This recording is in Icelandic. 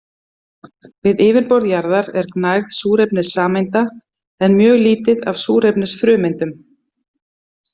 Við yfirborð jarðar er gnægð súrefnissameinda en mjög lítið af súrefnisfrumeindum.